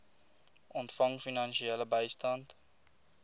ontvang finansiële bystand